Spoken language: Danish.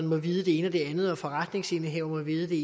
må vide det ene og det andet og om forretningsindehaveren må vide det